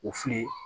O filɛ